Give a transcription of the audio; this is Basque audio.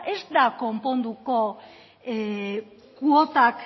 ez da konponduko kuotak